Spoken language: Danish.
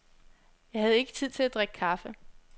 Jeg havde ikke tid til at drikke kaffe.